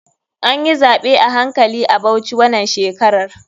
Anyi zaɓe a hankali a bauchi wanan shekarar.